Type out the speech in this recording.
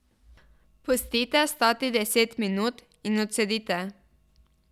Pustite stati deset minut in odcedite.